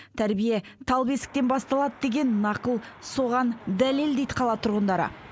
тәрбие тал бесіктен басталады деген нақыл соған дәлел дейді қала тұрғындары